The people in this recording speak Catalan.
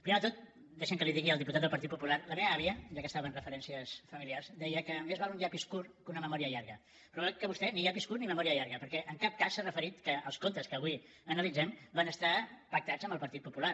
primer de tot deixi’m que li digui al diputat del partit popular que la meva àvia ja que estava en referències familiars deia que més val un llapis curt que una memòria llarga però veig que vostè ni llapis curt ni memòria llarga perquè en cap cas s’ha referit al fet que els comptes que avui analitzem van estar pactats amb el partit popular